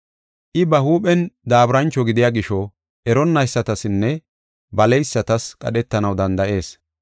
I ba huuphen daaburancho gidiya gisho, eronnaysatasinne baleysatas qadhetanaw danda7ees.